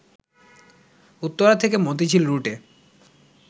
উত্তরা থেকে মতিঝিল রুটে